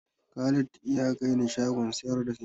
Khalid ya kai ni shagon sayar da simintin.